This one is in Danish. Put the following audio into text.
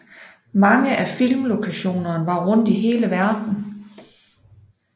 Mange af filmlokationerne var rundt i hele verden